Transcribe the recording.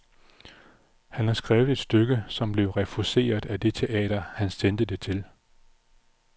Han har skrevet et stykke, som blev refuseret af det teater, han sendte det til.